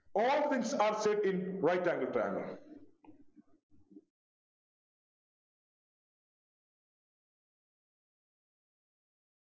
All things are check in right angle triangle